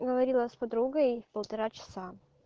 говорила с подругой полтора часа